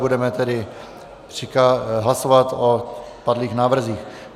Budeme tedy hlasovat o padlých návrzích.